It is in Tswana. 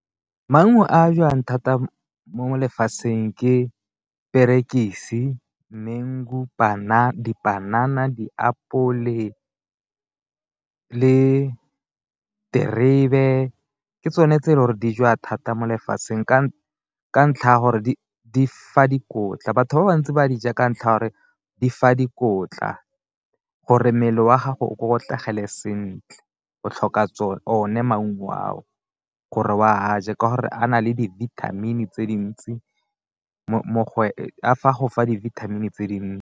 Maungo a jwang thata molefatsheng ke diperekisi, mengu, dipanana, diapole le terebe ke tsone tse e le gore di jewa thata mo lefatsheng, ka ntlha ya gore di fa dikotla batho ba bantsi ba di ja ka ntlha ya gore di fa dikotla gore mmele wa gago o kokotlegele sentle, o tlhoka o ne maungo ao gore o a je ka gore a na le di-vitamin tse dintsi a fa go fa dibithamini tse dintsi.